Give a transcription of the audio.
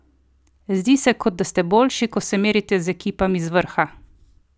Zdi se, kot da ste boljši, ko se merite z ekipami z vrha!